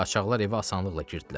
Qaçaqlar evə asanlıqla girdilər.